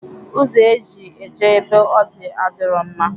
Ụzọ eji eje ebe ọ dị adirọ mma